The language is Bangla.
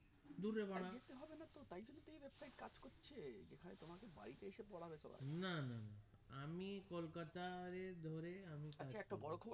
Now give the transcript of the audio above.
না না না আমি কলকাতার এ ধরে আমি